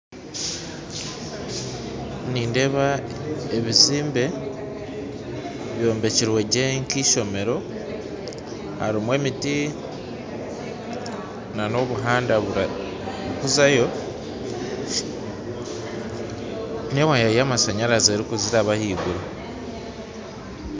Nindeeba ebizimbe byombekirwe gye nkeishomero harimu emiti na n'obuhanda oburikuzayo nyima hariyo waaya yamashanyarazi erukuziraba haiguru